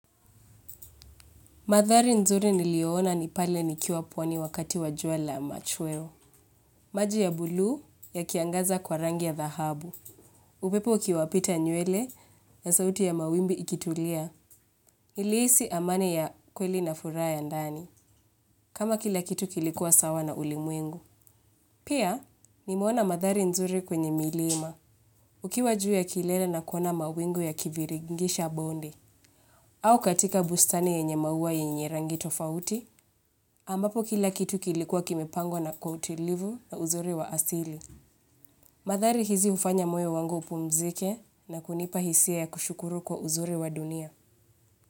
Mandhari nzuri niliiona ni pale nikiwa pwani wakati wa jua la machweo. Maji ya buluu yakiangaza kwa rangi ya dhahabu. Upepo ukiwapita nywele na sauti ya mawimbi ikitulia. Nilihisi amani ya kweli na furaha ya ndani. Kama kila kitu kilikuwa sawa na ulimwengu. Pia, nimeona mandhari nzuri kwenye milima. Ukiwa juu ya kilele na kuona mawingu yakiviringisha bonde au katika bustani yenye maua yenye rangi tofauti. Ambapo kila kitu kilikuwa kimepangwa na kwa utilivu na uzuri wa asili. Mandhari hizi hufanya moyo wangu upumzike na kunipa hisia ya kushukuru kwa uzuri wa dunia.